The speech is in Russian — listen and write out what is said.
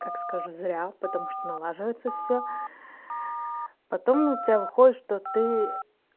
как скажу зря потому что налаживается всё потом у тебя выходит что ты